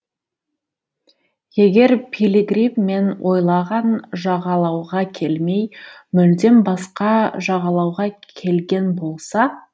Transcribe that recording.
егер пилигрим мен ойлаған жағалауға келмей мүлдем басқа жағалауға келген болса